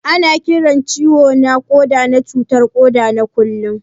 Ana Kiran ciwo na Koda na cutar koda na kullum.